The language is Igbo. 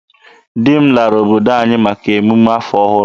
Di m lara obodo anyị maka emume afọ ọhụrụ.